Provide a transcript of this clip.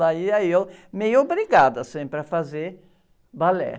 Lá ia eu meio obrigada sempre a fazer balé.